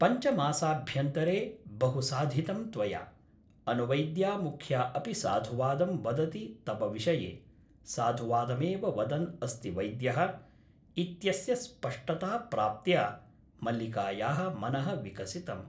पञ्चमासाभ्यन्तरे बहु साधितं त्वया । अनुवैद्यामुख्या अपि साधुवादं वदति तव विषये साधुवादमेव वदन् अस्ति वैद्यः ' इत्यस्य स्पष्टताप्राप्त्या मल्लिकायाः मनः विकसितम् ।